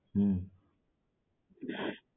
હમ્મ